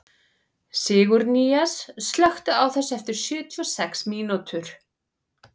Sigurnýjas, slökktu á þessu eftir sjötíu og sex mínútur.